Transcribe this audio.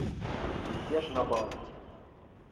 мятеж на баунти